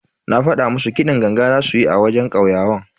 Na fada musu kiɗin ganga zasu yi a wajen kauyawan.